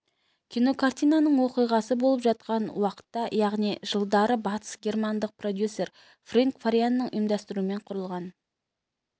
кинокартинаның оқиғасы болып жатқан уақытта яғни жылдары батыс германдық продюсер фрэнк фарианның ұйымдастыруымен құрылған